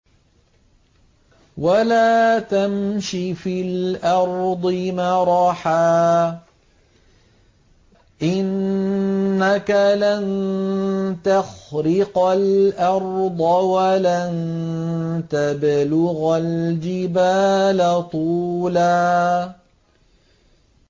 وَلَا تَمْشِ فِي الْأَرْضِ مَرَحًا ۖ إِنَّكَ لَن تَخْرِقَ الْأَرْضَ وَلَن تَبْلُغَ الْجِبَالَ طُولًا